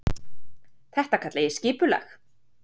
Og þetta kalla ég skipulag.